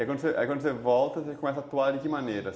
E aí quando quando você volta, você começa a atuar de que maneira?